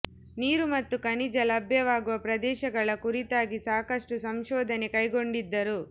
ನೀರು ಮತ್ತು ಖನಿಜ ಲಭ್ಯವಾಗುವ ಪ್ರದೇಶಗಳ ಕುರಿತಾಗಿ ಸಾಕಷ್ಟು ಸಂಶೋಧನೆ ಕೈಗೊಂಡಿದ್ದರು